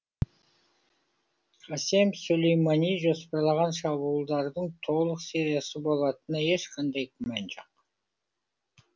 қасем сулеймани жоспарлаған шабуылдардың толық сериясы болатынына ешқандай күмән жоқ